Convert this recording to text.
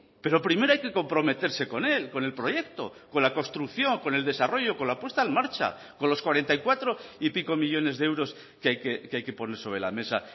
pero primero hay que comprometerse con él con el proyecto con la construcción con el desarrollo con la puesta en marcha con los cuarenta y cuatro y pico millónes de euros que hay que poner sobre la mesa